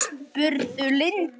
spurði Lind.